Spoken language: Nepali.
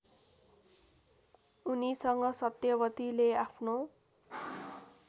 उनीसँग सत्यवतीले आफ्नो